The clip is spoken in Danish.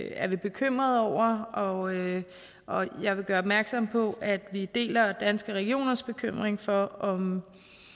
er vi bekymrede over og og jeg vil gøre opmærksom på at vi deler danske regioners bekymring for om